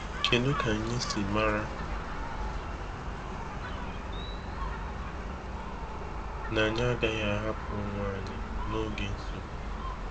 Kedu ka anyị siri mara na anyị agaghị ahapụ onwe anyị n’oge nsogbu?